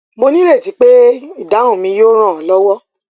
mo ní ìrètí pé ìdáhùn mi yóò ràn ọ lọwọ